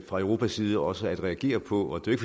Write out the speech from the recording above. fra europas side også at reagere på det er